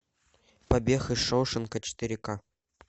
побег из шоушенка четыре ка